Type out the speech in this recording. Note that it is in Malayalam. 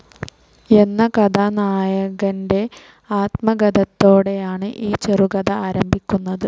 എന്ന കഥാനായകന്റെ ആത്മഗതത്തോടെയാണ് ഈ ചെറുകഥ ആരംഭിക്കുന്നത്.